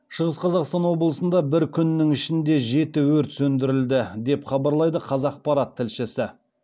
шығыс қазақстан облысында бір күннің ішінде жеті өрт сөндірілді деп хабарлайды қазақпарат тілшісі